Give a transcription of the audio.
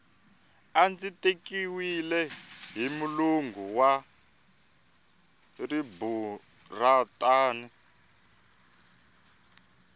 a ndzi tekiwile hi mulungu wa riburantani